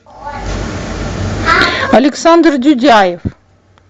александр дюдяев